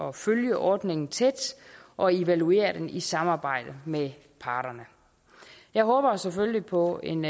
at følge ordningen tæt og evaluere den i samarbejde med parterne jeg håber selvfølgelig på en